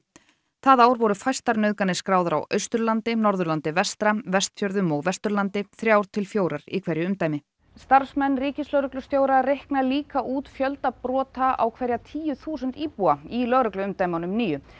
það ár voru fæstar nauðganir skráðar á Austurlandi Norðurlandi vestra Vestfjörðum og Vesturlandi þrjár til fjórar í hverju umdæmi starfsmenn ríkislögreglustjóra reikna líka út fjölda brota á hverja tíu þúsund íbúa í lögregluumdæmunum níu